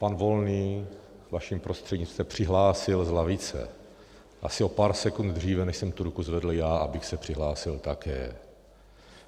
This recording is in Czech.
Pan Volný, vaším prostřednictvím, se přihlásil z lavice asi o pár sekund dříve, než jsem tu ruku zvedl já, abych se přihlásil také.